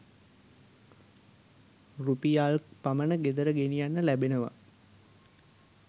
රුපියල් ක් පමණ ගෙදර ගෙනියන්න ලැබෙනවා